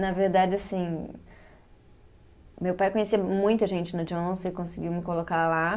Na verdade assim, meu pai conhecia muita gente no Johnson e conseguiu me colocar lá.